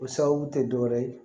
O sababu tɛ dɔwɛrɛ ye